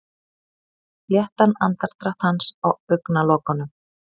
Léttan andardrátt hans á augnalokunum.